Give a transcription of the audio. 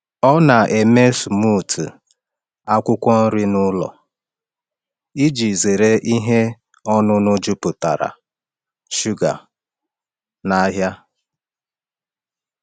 Ọ na-eme smoothie akwụkwọ nri n’ụlọ iji zere ihe ọṅụṅụ jupụtara shuga n’ahịa.